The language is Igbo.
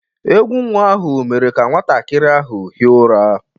Egwú nnwa ahụ mere ka nwantakịrị ahụ hie ụra.